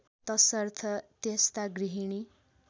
तसर्थ त्यस्ता गृहिणी